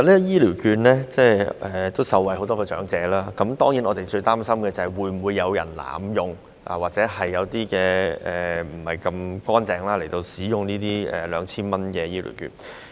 醫療券固然讓很多長者受惠，但我們最擔心的是會否有人濫用或不正當使用 2,000 元的長者醫療券。